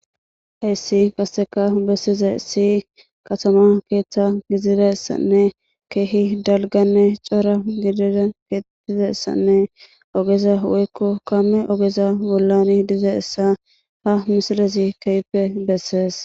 Hayssi kasseka bessiza issi katama keeththa gididassanne keehi dalganne cora gidida keettizassanne ogeza woykko kamme ogeza bollani diza essa ha misilezi keeyppe bessees.